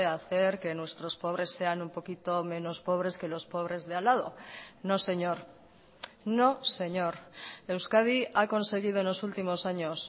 hacer que nuestros pobres sean un poquito menos pobres que los pobres de al lado no señor no señor euskadi ha conseguido en los últimos años